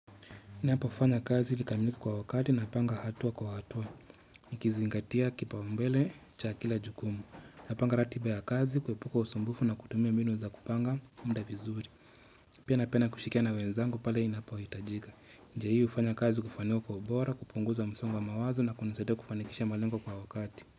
Ninapo fanya kazi vikamilike kwa wakati na panga hatua kwa hatua. Nikizingatia kipaumbele cha kila jukumu. Napanga ratiba ya kazi kuepuka usumbufu na kutumia mbinu za kupanga muda vizuri. Pia napenda kushilikiana na wenzangu pale inapohitajika. Njia hii hufanya kazi kufanywa kwa ubora, kupunguza msongg wa mawazo na kunisadia kufanikisha malengo kwa wakati.